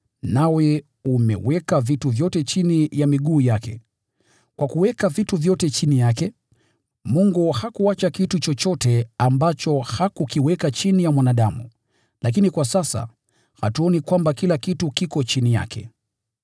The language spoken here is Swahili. nawe umeweka vitu vyote chini ya miguu yake.” Kwa kuweka vitu vyote chini yake, Mungu hakuacha kitu chochote ambacho hakukiweka chini ya mwanadamu. Lakini kwa sasa, hatuoni kwamba kila kitu kiko chini yake.